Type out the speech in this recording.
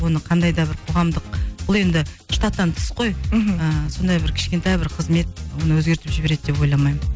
оны қандай да бір қоғамдық бұл енді штаттан тыс қой мхм і сондай бір кішкентай бір қызмет оны өзгертіп жібереді деп ойламаймын